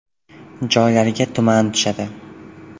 Joylarga tuman tushadi.